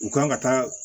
U kan ka taa